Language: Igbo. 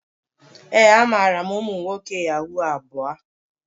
Ee, amaara m umu nwoke yahoo abuo.